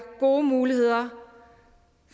gode muligheder